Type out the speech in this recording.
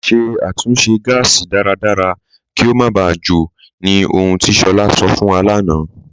Ṣẹ̀ àtúnṣe gásì dáradára kí o má bá jò, ní ọ̀hùn ti Shola sọ̀ fún wa lánà.